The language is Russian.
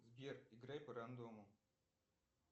сбер играй по рандому